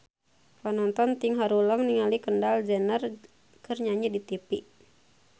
Panonton ting haruleng ningali Kendall Jenner keur nyanyi di tipi